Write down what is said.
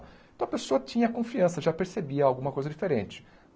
Então a pessoa tinha confiança, já percebia alguma coisa diferente.